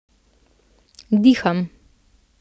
Diham.